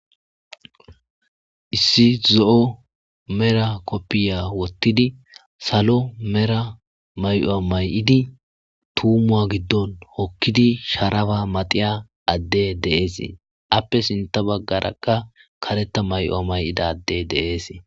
Issi zo'o mera qobbiya woththidi, salo mera mayo mayidi, tuumuwa giddoon oottidi, sharapa matsiya adde de'ees. Appe sintta bagarakka kareththa mayuwa mayida adde de'ees.